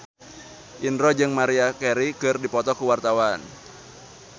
Indro jeung Maria Carey keur dipoto ku wartawan